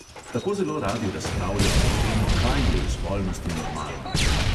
Tako zelo radi razpravljamo o tem, kaj je v spolnosti normalno.